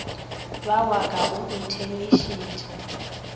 ba wa ka o nthemišitše